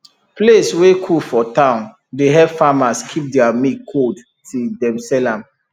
place wey cool for town dey help farmers keep their milk cold till dem sell am